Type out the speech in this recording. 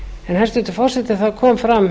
hæstvirtur forseti það kom fram